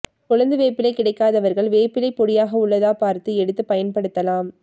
கொழுந்து வேப்பிலை கிடைக்காதவர்கள் வேப்பிலை பொடியாக உள்ளதா பார்த்து எடுத்தும் பயன் படுத்தலாம்